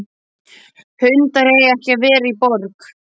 Hundar eiga ekki að vera í borg.